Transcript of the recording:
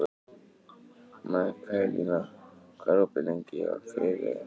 Mikaelína, hvað er opið lengi á þriðjudaginn?